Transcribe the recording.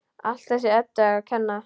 Allt þessari Eddu að kenna!